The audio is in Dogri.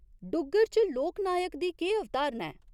डुग्गर च लोकनायक दी केह् अवधारणा ऐ?